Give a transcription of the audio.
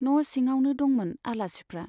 न' सिङावनो दंमोन आलासिफ्रा।